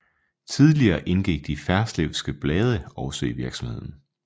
Tidligere indgik de Ferslewske Blade også i virksomheden